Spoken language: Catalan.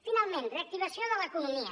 finalment reactivació de l’economia